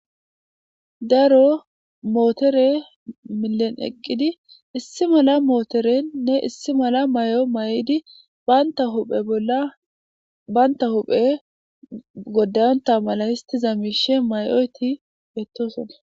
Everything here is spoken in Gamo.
Daro mootore milen eqqidi issi mala mootorennne issi mala may7o may7idi banta huphe bolla baynta huphe godayonta mala histi zamishe may7oyti yettosona.